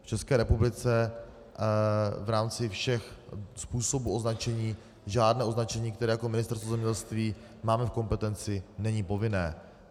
V České republice v rámci všech způsobů označení žádné označení, které jako Ministerstvo zemědělství máme v kompetenci, není povinné.